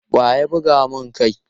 Wa ya buga mun kai?